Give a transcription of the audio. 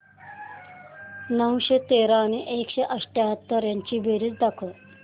नऊशे तेरा आणि एकशे अठयाहत्तर यांची बेरीज दाखव